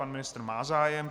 Pan ministr má zájem.